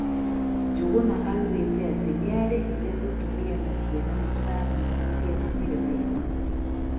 Njengena augete atĩ nĩarehirĩ mũtũmia na ciana mũcara na matiarutirĩ wĩra